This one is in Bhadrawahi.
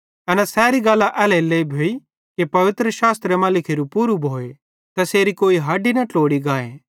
एना सैरी गल्लां एल्हेरेलेइ भोई कि पवित्रशास्त्रे मां लिखोरू पूरू भोए तैसेरी कोई हडी न ट्लोड़ी गाए